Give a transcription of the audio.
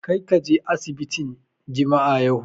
Kar ka je asibitin jami'a yau!